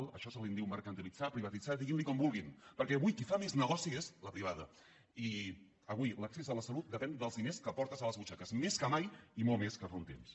d’això se’n diu mercantilitzar privatitzar diguin ne com vulguin perquè avui qui fa més negoci és la privada i avui l’accés a la salut depèn dels diners que portes a les butxaques més que mai i molt més que fa un temps